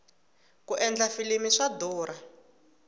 ku endla filimi swa durha